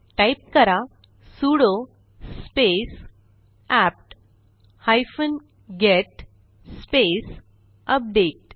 type करा sudo space APT hyphen get space update